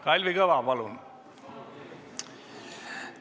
Kalvi Kõva, palun!